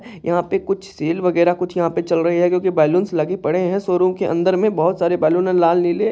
यहाँ पे कुछ सेल वगेरा कुछ यहाँ पे चल रहे है क्योंकि बलूनस लगे पड़े है शोरूम के अंदर मे बोहोत सारे बैलून है लाल नीले--